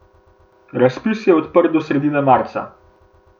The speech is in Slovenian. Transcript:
Razpis je odprt do srede marca.